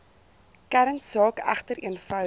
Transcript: kernsaak egter eenvoudig